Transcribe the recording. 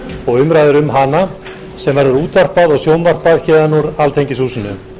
og umræður um hana sem verður útvarpað og sjónvarpað héðan úr alþingishúsinu